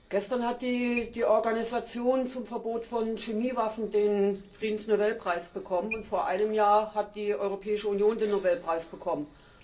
Gestern hat die Organisation zum Verbot von Chemiewaffen den Friedensnobelpreis bekommen, und vor einem Jahr hat die Europäische Union den Nobelpreis bekommen.